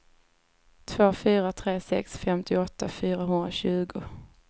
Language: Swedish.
två fyra tre sex femtioåtta fyrahundratjugo